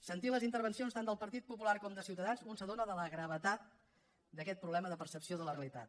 sentint les intervencions tant del partit popular com de ciutadans un s’adona de la gravetat d’aquest problema de percepció de la realitat